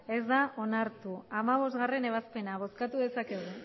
ez da onartu hamabostgarrena ebazpena bozkatu dezakegu